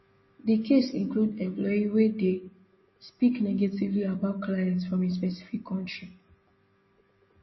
di case include employee wey dey speak negatively about clients from a specific kontri